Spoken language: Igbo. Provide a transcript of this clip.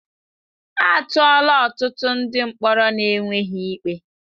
A tụọla ọtụtụ ndị mkpọrọ n'enweghị ikpe.